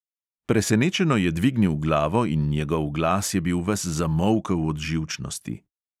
Presenečeno je dvignil glavo in njegov glas je bil ves zamolkel od živčnosti.